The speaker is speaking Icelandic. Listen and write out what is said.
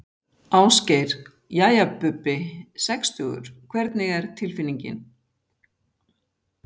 Ásgeir: Jæja Bubbi, sextugur hvernig er tilfinningin?